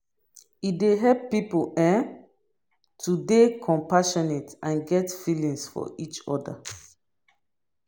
e dey help pipo um to dey compassionate and get feelings for each oda